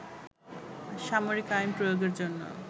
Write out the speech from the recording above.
সামরিক আইন প্রয়োগের জন্য